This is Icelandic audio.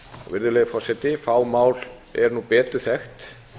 virðulegi forseti fá mál eru nú betur þekkt